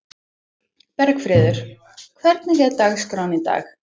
Bergfríður, hvernig er dagskráin í dag?